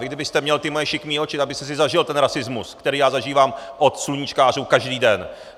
Vy kdybyste měl ty moje šikmé oči, tak byste si zažil ten rasismus, který je zažívám od sluníčkářů každý den.